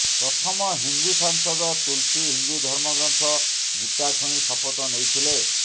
ପ୍ରଥମ ହିନ୍ଦୁ ସାଂସଦ ତୁଲ୍ସୀ ହିନ୍ଦୁ ଧର୍ମଗ୍ରନ୍ଥ ଗୀତା ଛୁଇଁ ଶପଥ ନେଇଥିଲେ